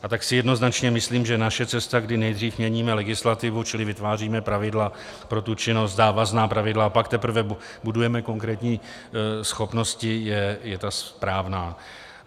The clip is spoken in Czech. A tak si jednoznačně myslím, že naše cesta, kdy nejdřív měníme legislativu, čili vytváříme pravidla pro tu činnost, závazná pravidla, a pak teprve budujeme konkrétní schopnosti, je ta správná.